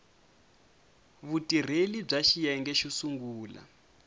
vutirheli bya xiyenge xo sungula